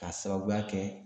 K'a sababuya kɛ